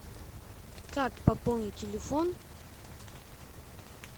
как пополнить телефон